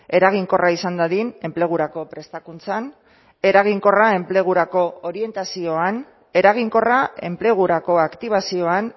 eraginkorra izan dadin enplegurako prestakuntzan eraginkorra enplegurako orientazioan eraginkorra enplegurako aktibazioan